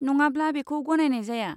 नङाब्ला बेखौ गनायनाय जाया।